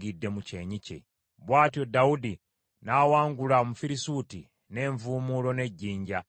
Bw’atyo Dawudi n’awangula Omufirisuuti n’envuumuulo n’ejjinja,